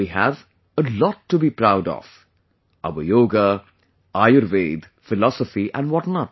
We have a lot to be proud of...Our yoga, Ayurveda, philosophy and what not